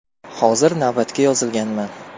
Hozir navbatga yozilganman.